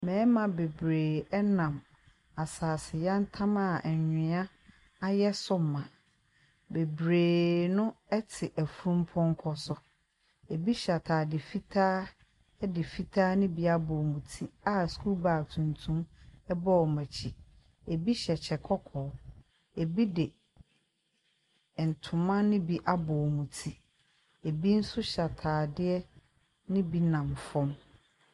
Mmarima bebiree nenam asase yantam a anwea ayɛ so ma. Bebiree no te afunupɔnkɔ so. Ebi hyɛ ataade fitaa de fitaa no bi abɔ wɔn ti a sukuu baage tuntum bɔ wɔn akyi. Ebi hyɛ kyɛ kɔkɔɔ, ebi de ntoma no bi abɔ wɔn ti. Ebi nso hyɛ ataadeɛ no bi nam fam.